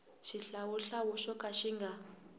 xihlawuhlawu xo ka xi nga